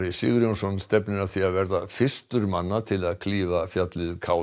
Sigurjónsson stefnir að því að verða fyrstur manna til að klífa fjallið k